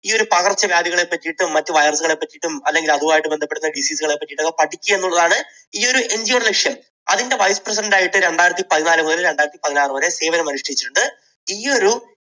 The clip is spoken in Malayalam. ഈയൊരു പകർച്ചവ്യാധികളെ പറ്റിയും മറ്റ് virus കളെ പറ്റിയിട്ടും അല്ലെങ്കിൽ അതുമായി ബന്ധപ്പെടുന്ന മറ്റു disease കളെ പറ്റിയുമൊക്കെ പഠിക്കുക എന്നുള്ളതാണ് ഈയൊരു NGO യുടെ ലക്ഷ്യം. അതിൻറെ vice president ആയിട്ട് രണ്ടായിരത്തി പതിനാലു മുതൽ രണ്ടായിരത്തി പതിനാറ് വരെ സേവനമനുഷ്ഠിച്ചിട്ടുണ്ട്. ഈ ഒരു